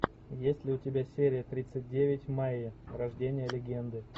есть ли у тебя серия тридцать девять майя рождение легенды